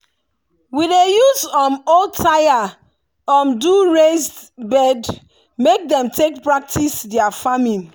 we dey use um old tyre um do raised bed make dem take practise their farming.